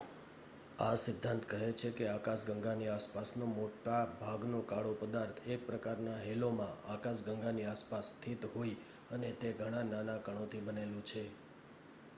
આ સિદ્ધાંત કહે છે કે આકાશગંગાની આસપાસનો મોટા ભાગનો કાળો પદાર્થ એક પ્રકારના હેલોમાં આકાશગંગાની આસપાસ સ્થિત હોય.અને તે ઘણા નાના કણોથી બનેલું છે